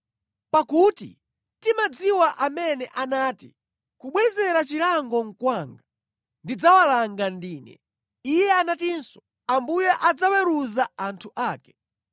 Pakuti timadziwa amene anati, “Kubwezera chilango nʼkwanga; ndidzawalanga ndine.” Iye anatinso, “Ambuye adzaweruza anthu ake.”